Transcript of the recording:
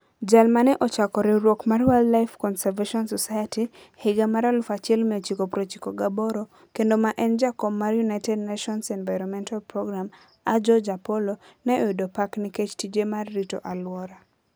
Jal ma ne ochako riwruok mar Wildlife Conservation Society e higa mar 1998 kendo ma ne en jakom mar United Nations Environment Programme, Ajoh Japolo, ne oyudo pak nikech tije mar rito alwora.